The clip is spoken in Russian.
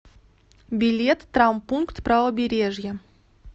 билет травмпункт правобережья